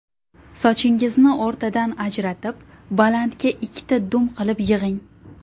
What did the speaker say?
Sochingizni o‘rtadan ajratib, balandga ikkita dum qilib yig‘ing.